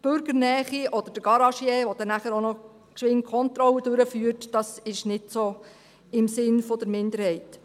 Die Bürgernähe oder der Garagier, der dann auch noch schnell die Kontrolle durchführt, ist also nicht so im Sinn der Minderheit.